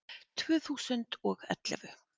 Tvö þúsund og ellefu